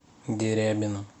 дерябину